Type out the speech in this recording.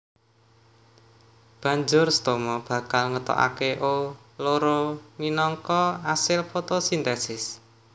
Banjur stoma bakal ngetokaké O loro minangka asil fotosintesis